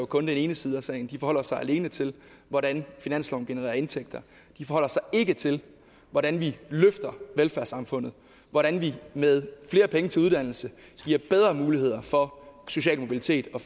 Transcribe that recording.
kun den ene side af sagen for de forholder sig alene til hvordan finansloven genererer indtægter de forholder sig ikke til hvordan vi løfter velfærdssamfundet hvordan vi med flere penge til uddannelse giver bedre muligheder for social mobilitet eller